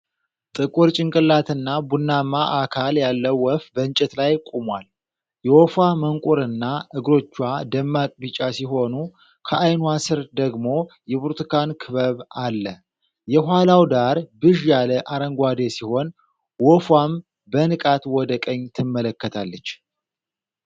ጥቁር ጭንቅላትና ቡናማ አካል ያለው ወፍ በእንጨት ላይ ቆሟል። የወፏ መንቁርና እግሮቿ ደማቅ ቢጫ ሲሆኑ፣ ከዓይኗ ስር ደግሞ የብርቱካን ክበብ አለ። የኋላው ዳራ ብዥ ያለ አረንጓዴ ሲሆን ወፏም በንቃት ወደ ቀኝ ትመለከታለች።